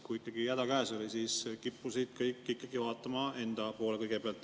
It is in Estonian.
Kui häda käes oli, siis kippusid kõik ikkagi vaatama enda poole kõigepealt.